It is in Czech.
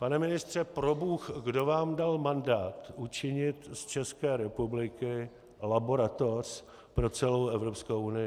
Pane ministře, probůh, kdo vám dal mandát učinit z České republiky laboratoř pro celou Evropskou unii?